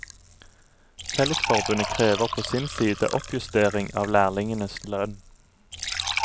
Fellesforbundet krever på sin side oppjustering av lærlingenes lønn.